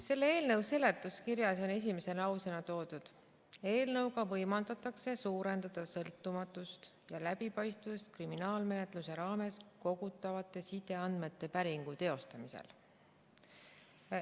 Selle eelnõu seletuskirjas on esimese lausena toodud, et eelnõuga võimaldatakse suurendada sõltumatust ja läbipaistvust kriminaalmenetluse raames kogutavate sideandmete päringu teostamisel.